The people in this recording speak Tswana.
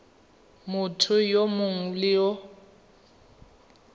motho yo mongwe le yo